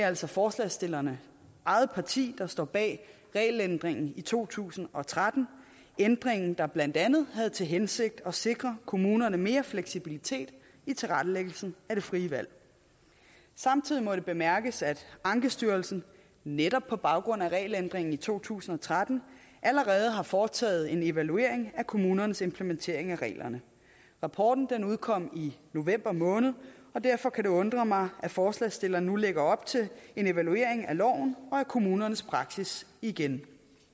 altså forslagsstillernes eget parti der stod bag regelændringen i to tusind og tretten ændringen der blandt andet havde til hensigt at sikre kommunerne mere fleksibilitet i tilrettelæggelsen af det frie valg samtidig må det bemærkes at ankestyrelsen netop på baggrund af regelændringen i to tusind og tretten allerede har foretaget en evaluering af kommunernes implementering af reglerne rapporten udkom i november måned og derfor kan det undre mig at forslagsstillerne nu lægger op til en evaluering af loven og af kommunernes praksis igen